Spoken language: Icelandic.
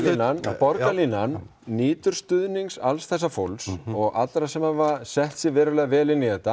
borgarlínan nýtur stuðnings alls þessa fólks og allra þeirra sem hafa sett sig verulega vel inn í þetta